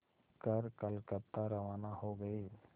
कर कलकत्ता रवाना हो गए